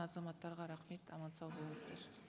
азаматтарға рахмет аман сау болыңыздыр